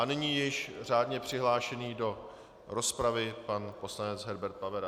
A nyní již řádně přihlášený do rozpravy pan poslanec Herbert Pavera.